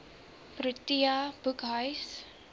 protea boekhuis